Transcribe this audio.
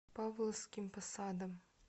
павловским посадом